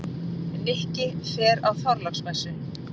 Nikki fer á Þorláksmessu.